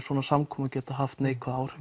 svona samkomur geti haft neikvæð áhrif